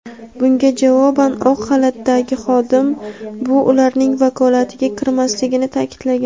Bunga javoban oq xalatdagi xodim bu ularning vakolatiga kirmasligini ta’kidlagan.